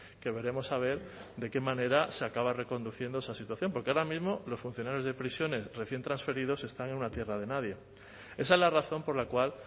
que veremos a ver de qué manera se acaba reconduciendo esa situación porque ahora mismo los funcionarios de prisiones recién transferidos están en una tierra de nadie esa es la razón por la cual